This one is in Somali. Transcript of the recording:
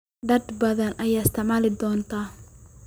Dad badan ayaa isticmaala doonta.